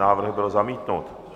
Návrh byl zamítnut.